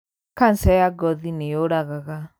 Kanja ya ngothi nīyūragaga.